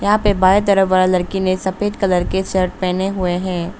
यहां पे बाएं तरफ वाले लड़के ने सफेद कलर शर्ट पहने हुए हैं।